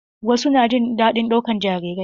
Wasu na jin daɗin ɗaukan jarirai.